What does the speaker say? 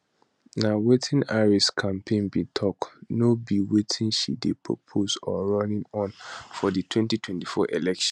na wetin di harris campaign bin tok no be wetin she dey propose or running on for di 2024 election